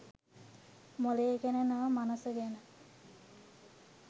මොළය ගැන නොව මනස ගැන